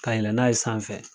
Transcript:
Kayɛlɛ n'a ye sanfɛ